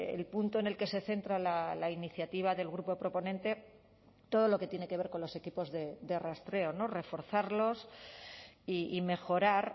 el punto en el que se centra la iniciativa del grupo proponente todo lo que tiene que ver con los equipos de rastreo no reforzarlos y mejorar